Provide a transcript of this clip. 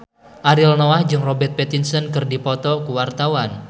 Ariel Noah jeung Robert Pattinson keur dipoto ku wartawan